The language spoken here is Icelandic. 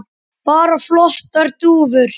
Bara flottar dúfur.